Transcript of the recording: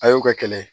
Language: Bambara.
A y'o kɛ kɛlɛ ye